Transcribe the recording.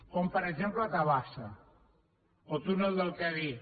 com per exemple tabasa o túnel del cadí